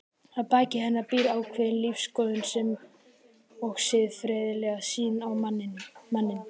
Að baki henni býr ákveðin lífsskoðun sem og siðferðileg sýn á manninn.